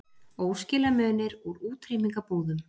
Óskilamunir úr útrýmingarbúðum